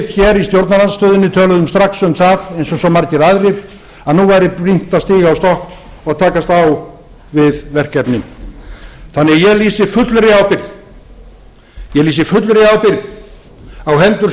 hér í stjórnarandstöðunni töluðum strax um það eins og svo margir aðrir að nú væri brýnt að stíga á stokk og haust á við verkefnin ég lýsi því fullri ábyrgð á hendur